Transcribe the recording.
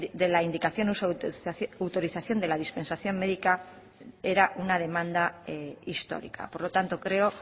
de la indicación y uso de la autorización de la dispensación médica era una demanda histórica por lo tanto creo